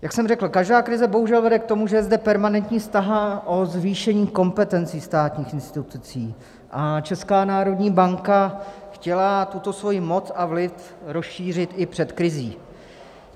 Jak jsem řekl, každá krize bohužel vede k tomu, že je zde permanentní snaha o zvýšení kompetencí státních institucí, a Česká národní banka chtěla tuto svoji moc a vliv rozšířit i před krizí.